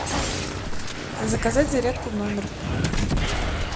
заказать зарядку в номер